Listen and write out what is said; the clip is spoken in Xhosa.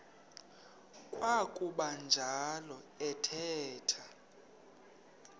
kwakuba njalo athetha